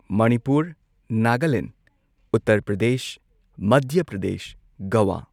Manipur Nagaland Uttar Pradesh Madhya Pradesh Goa